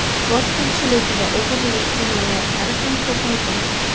Bosqinchilik va o‘g‘rilik jinoyatlari ham ko‘paygan.